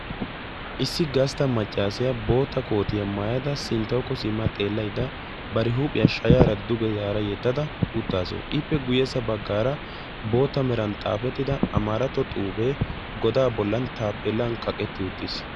Issi gastta maccassiya bootta koottiya maayadda ba huuphphiya duge yedadda eqqassu.